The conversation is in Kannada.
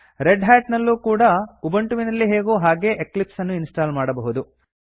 ರೆಡ್ ಹ್ಯಾಟ್ ನಲ್ಲೂ ಕೂಡಾ ಉಬಂಟುವಿನಲ್ಲಿ ಹೇಗೋ ಹಾಗೇ ಎಕ್ಲಿಪ್ಸ್ ಅನ್ನು ಇನ್ಸ್ಟಾಲ್ ಮಾಡಬಹುದು